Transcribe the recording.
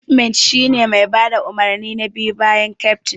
Cifmet shine mai bada umarni na biyu bayan keftin.